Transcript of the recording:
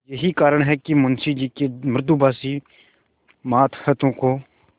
यही कारण है कि मुंशी जी के मृदुभाषी मातहतों को